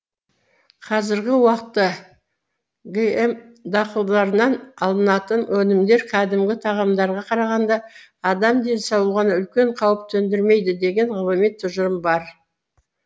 қзіргі уақытта гм дақылыдарынан алынатын өнімдері кәдімгі тағамдарға қарағанда адам денсаулығына үлкен қауіп төндірмейді деген ғылыми тұжырым бар